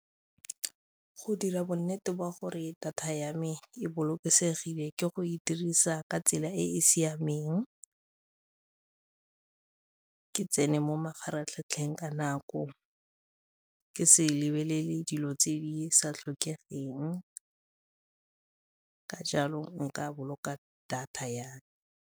Go dira bonnete ba gore data ya me e bolokesegile ke go e dirisa ka tsela e e siameng, ke tsene mo mafaratlhatlheng ka ka nako, ke se lebelele dilo tse di sa tlhokegeng, ka jalo nka boloka data ya me.